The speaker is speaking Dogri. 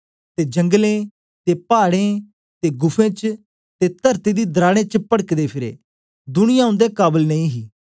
ते जंगलें ते पाड़ें ते गुफें च ते तरती दी दराड़ें च पड़कदे फिरे दुनिया उन्दे काबल नेई ही